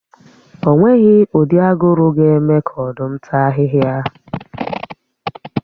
O nweghi ụdị aguru ga-eme ka Ọ̀dụ́m tàa ahị́hia